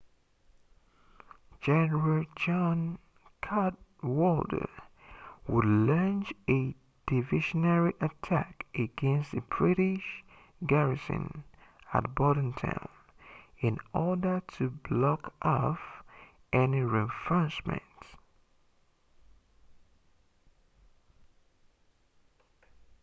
general john cadwalder would launch a diversionary attack against the british garrison at bordentown in order to block off any reinforcements